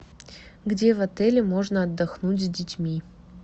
где в отеле можно отдохнуть с детьми